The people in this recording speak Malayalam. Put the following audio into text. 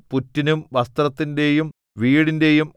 പുറ്റിനും വസ്ത്രത്തിന്റെയും വീടിന്റെയും